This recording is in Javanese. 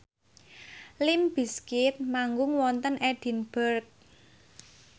limp bizkit manggung wonten Edinburgh